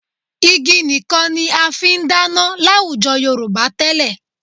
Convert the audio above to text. Igi nìkan ni a fi ń dáná láwùjọ Yorùbá tẹ́lẹ̀